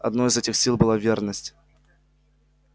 одной из этих сил была верность